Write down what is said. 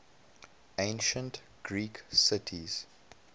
ancient greek cities